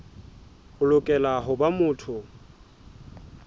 o lokela ho ba motho